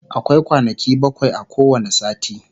akwai kwanaki bakwai a kowani sati